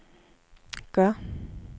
gør